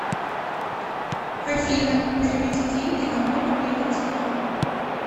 афина переведи деньги на мой мобильный телефон